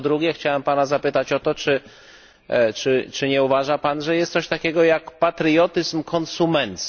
A po drugie, chciałbym Pana zapytać o to, czy nie uważa Pan, że jest coś takiego jak patriotyzm konsumencki?